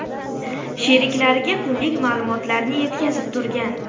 sheriklariga kunlik ma’lumotlarni yetkazib turgan.